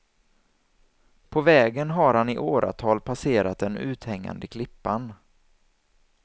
På vägen har han i åratal passerat den uthängande klippan.